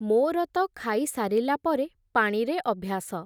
ମୋର ତ ଖାଇସାରିଲା ପରେ ପାଣିରେ ଅଭ୍ୟାସ ।